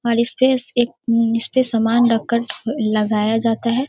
और इसपे से एक उम इस पे सामान रख कर लगाया जाता है।